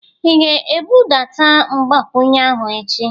Ị ga-ebudata mgbakwunye ahụ echi?